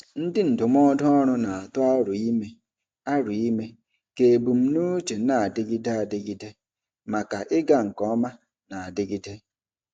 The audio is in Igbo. Ndị ndụmọdụ ọrụ na-atụ aro ime aro ime ka ebumnuche na-adịgide adịgide maka ịga nke ọma na-adigide.